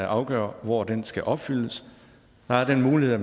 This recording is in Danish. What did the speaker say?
afgøre hvor den skal opfyldes der er den mulighed at